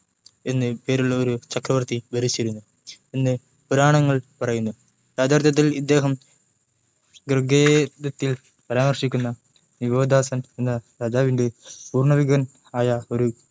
ഭരതൻ എന്നു പേരുള്ള ഒരു ചക്രവർത്തി ഭരിച്ചിരുന്നു എന്ന പുരാണങ്ങൾ പറയുന്നു യഥാർത്ഥത്തിൽ ഇദ്ദേഹം ഋഗ്വേദത്തിൽ പരാമർശിക്കുന്ന ദിവോദാസൻ എന്ന രാജാവിൻ്റെ പൂർവികൻ ആയ ഒരു